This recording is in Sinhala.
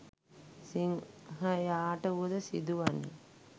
සිංහයාට වුවද සිදු වන්නේ